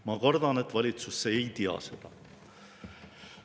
Ma kardan, et valitsus ei tea seda.